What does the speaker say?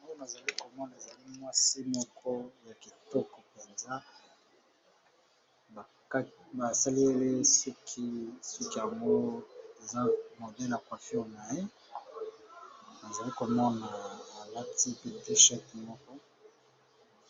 Awa nazali komona ezali mwasi moko ya kitoko mpenza ba saleli suki, suki yango eza modele ya coiffure na ye nazali komona alati pe t-shirt moko